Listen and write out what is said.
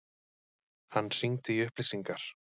Hann hringdi í upplýsingar.